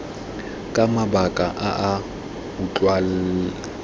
ka mabaka a a utlwalang